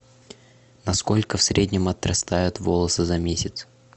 на сколько в среднем отрастают волосы за месяц